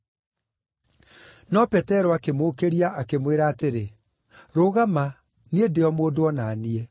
No Petero akĩmũũkĩria, akĩmwĩra atĩrĩ, “Rũgama, niĩ ndĩ o mũndũ o na niĩ.”